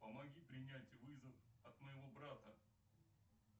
помоги принять вызов от моего брата